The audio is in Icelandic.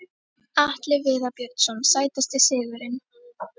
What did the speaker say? Atli Viðar Björnsson Sætasti sigurinn?